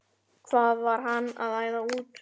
Hvað var hann að æða út?